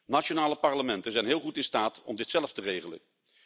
Nationale parlementen zijn heel goed in staat om dit zelf te regelen.